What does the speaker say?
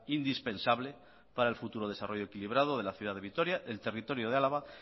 indispensable para el futuro desarrollo equilibrado de la ciudad de vitoria el territorio de álava